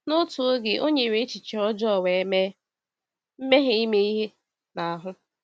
N’otu oge, o nyere n’echiche ọjọọ wee mee mmehie ime ihe n’ahụ.